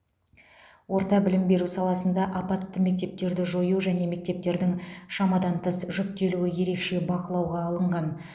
орта білім беру саласында апатты мектептерді жою және мектептердің шамадан тыс жүктелуі ерекше бақылауға алынған